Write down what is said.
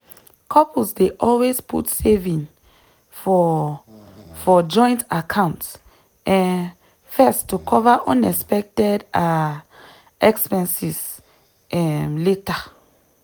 couples dey always put saving for for joint account um first to cover unexpected um expenses um later.